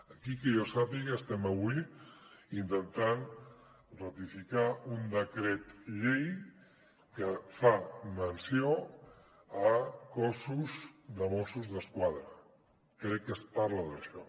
aquí que jo sàpiga estem avui intentant ratificar un decret llei que fa menció de cossos de mossos d’esquadra crec que es parla d’això